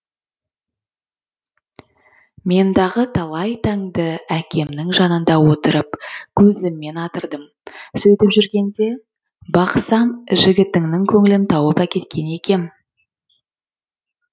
мендағы талай таңды әкемнің жанында отырып көзіммен атырдым сөйтіп жүргенде бақсам жігітіңнің көңілін тауып әкеткем екем